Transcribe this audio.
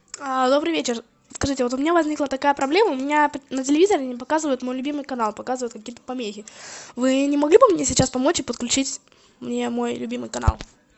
добрый вечер скажите вот у меня возникла такая проблема у меня на телевизоре не показывает мой любимый канал показывает какие то помехи вы не могли бы мне сейчас помочь и подключить мне мой любимый канал